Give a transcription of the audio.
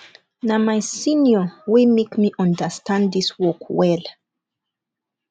na my senior wey make me understand dis work well